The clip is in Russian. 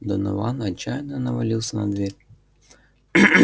донован отчаянно навалился на дверь